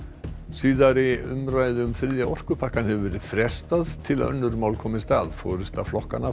síðari umræðu um þriðja orkupakkann hefur verið frestað til að önnur mál komist að forysta flokkanna